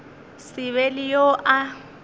se be le yo a